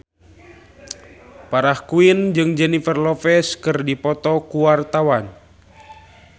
Farah Quinn jeung Jennifer Lopez keur dipoto ku wartawan